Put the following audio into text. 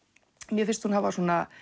mér finnst hún hafa